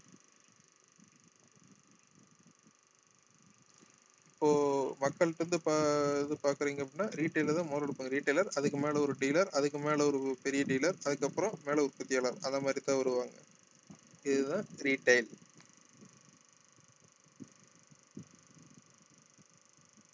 இப்போ மக்கள்ட்ட இருந்து ப~ இது பாக்குறீங்க அப்படின்னா retail தான் முதல்ல எடுப்பாங்க retailer அதுக்கு மேலே ஒரு dealer அதுக்கு மேலே ஒரு பெரிய dealer அதுக்கப்புறம் மேலே உற்பத்தியாளர் அதை மாதிரிதான் வருவாங்க இதுதான் retail